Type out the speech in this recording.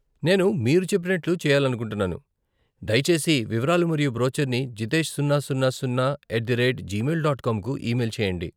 నేను మీ చెప్పినట్లు చెయాలనుకుంటున్నాను, దయచేసి వివరాలు మరియు బ్రోచర్ని జితేష్ సున్నా సున్నా సున్నా at the rate Gmail dot com కు ఈమెయిల్ చేయండి.